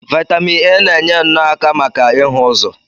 Vaitamin A na-enye nno aka maka ịhụ ụzọ.